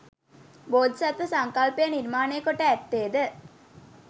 බෝධිසත්ව සංකල්පය නිර්මාණය කොට ඇත්තේ ද